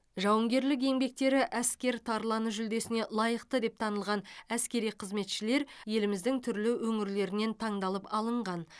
жауынгерлік еңбектері әскер тарланы жүлдесіне лайықты деп танылған әскери қызметшілер еліміздің түрлі өңірлерінен таңдалып алынған